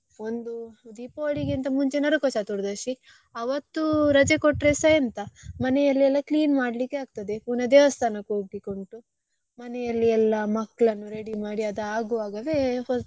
ಒಂದು Deepavali ಗೆ ಇಂತ ಮುಂಚೆ ನರಕ ಚತುರ್ದಶಿ ಆವತ್ತು ರಜೆ ಕೊಟ್ರೆಸಾ ಎಂತ ಮನೆಯಲ್ಲೆಲ್ಲ clean ಮಾಡ್ಲಿಕ್ಕೆ ಅಗ್ತದೆ ಪುನಾ ದೇವಸ್ಥಾನಕ್ಕೆ ಹೋಗ್ಲಿಕ್ಕೆ ಉಂಟು ಮನೆಯಲ್ಲಿ ಎಲ್ಲ ಮಕ್ಕಳನ್ನು ready ಮಾಡಿ ಅದು ಆಗುವಾಗವೇ.